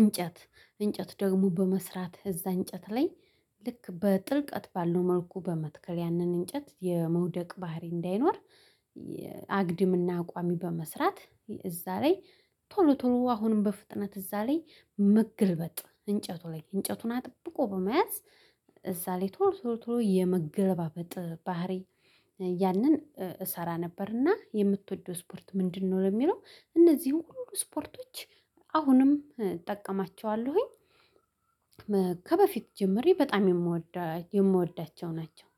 እንጨት እንጨት ደግሞ በመስራት እዛ እንጨት ላይ ልክ በጥልቀት ባለው መልኩ በመትከል ያንን እንጨት የመውደቅ ባህሪ እንዳይኖር አግድምና ቋሚ በመስራት እዛ ላይ ቶሎ ቶሎ አሁንም በፍጥነት እዛ ላይ መገልበጥ እንጨቱ ላይ እንጨቱን አጥብቆ በመያዝ እዛ ላይ ቶሎ ቶሎ ቶሎ የመገለባበጥ ባህሪ ያንን እሰራ ነበርና የምትወደው ስፖርት ምንድነው? የሚለው እነዚህን ሁሉ ስፖርቶች አሁንም እጠቀማቸዋለሁኝ ከበፊት ጀምሬ በጣም የምወዳቸው ናቸው